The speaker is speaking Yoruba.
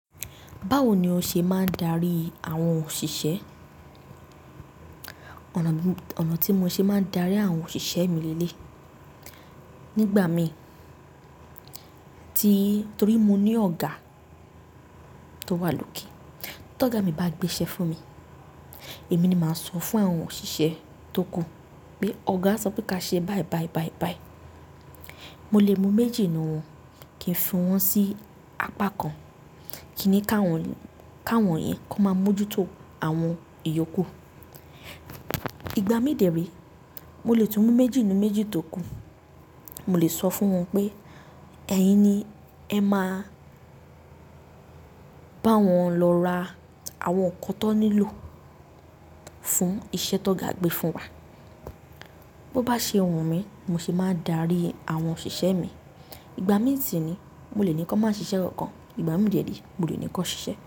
Báwo ni o ṣe máa ń darí àwọn òṣìṣẹ́? Ọ̀nà tí mo ṣe máa ń darí àwọn òṣìṣẹ́ mi leleeyi, nígbà mi ti torí mo ní ọ̀gá tó wà lókè. Tí ọ̀gá mi bá gbé iṣẹ́ fún mi, èmi ni màá sọ fún àwọn òṣìṣẹ́ tókù pé ọ̀gá sọ pé kí á ṣe báì báì báì báì. Mo lè mú méjì nínú wọn kí n fi wọ́n sí apá kan, kíni káwọn, káwọn yẹn kó máa mójútó àwọn iyókù. Ìgbà mi dẹ̀ ree, mo lè tún mú méjì nínú méjì tókù. Mo lè sọ fún wọn pé ẹ̀yin ni ẹ máa bá wọn lọ ra àwọn nǹkan tó nílò fún iṣẹ́ tó ga gbé fún wa. Bó bá ṣe wù mí ni mo ṣe máa ń darí àwọn òṣìṣẹ́ mi. Ìgbà mi sì ni, mo lè ní kí wọ́n máa ṣiṣẹ́ kankan, ìgbà mí dẹ̀ ni mo lè ní kí wọ́n ṣiṣẹ́.